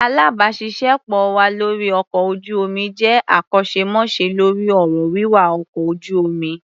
Alábàáṣiṣé pọ̀ wa lórí ọkọ̀ ojú-omi jẹ́ akọ́ṣẹ́mọṣẹ́ lórí ọ̀rọ̀ wíwa ọkọ̀ ojú-omi.